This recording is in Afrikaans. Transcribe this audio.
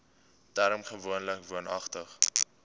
term gewoonlik woonagtig